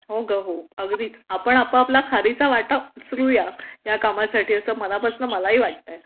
हो ग हो अगदीच आपण आपला खारीचा वाटा उचलुया ह्या कामासाठी असं मनापासून मलाही वाटतं